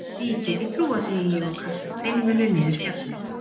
Því get ég trúað, segi ég og kasta steinvölu niður fjallið.